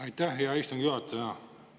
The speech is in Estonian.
Aitäh, hea istungi juhataja!